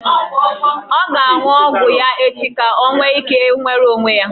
Ọ ga-aṅụ ọgwụ ya echi ka o nwee ike nwere onwe ya.